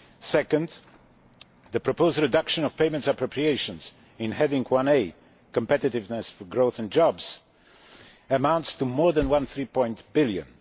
Second, the proposed reduction of payments appropriations in Heading 1A Competitiveness for growth and jobs amounts to more than 1.3 billion.